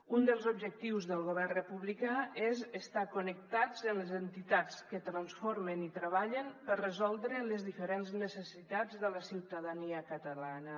un dels objectius del govern republicà és estar connectats amb les entitats que transformen i treballen per resoldre les diferents necessitats de la ciutadania catalana